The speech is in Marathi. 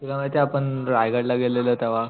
तुला माहितेय आपण रायगड ला गेलेलो तेव्हा,